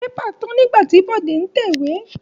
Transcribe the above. Pépà tán nígbà tí Bọ̀dé ń tẹ̀wé.